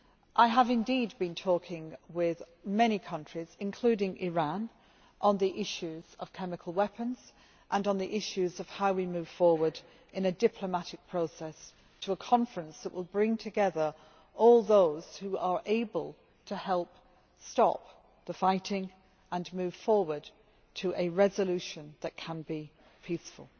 I have been talking with many countries, including Iran, on the issues of chemical weapons and of how we can move forward in a diplomatic process to a conference that will bring together all those who are able to stop the fighting and move forward to a resolution that can be peaceful.